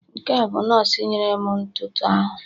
Nke a bụ nọọsụ nyere m ntụtụ ahụ